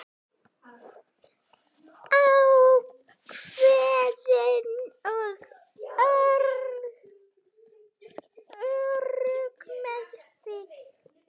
Ákveðin og örugg með sig.